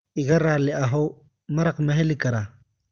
Iga raali ahow, maraq ma heli karaa?